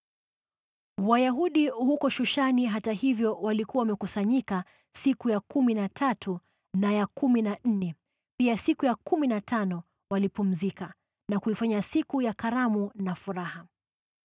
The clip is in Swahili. Wayahudi huko Shushani, hata hivyo, walikuwa wamekusanyika siku ya kumi na tatu na ya kumi na nne, pia siku ya kumi na tano walipumzika na kuifanya siku ya karamu na furaha.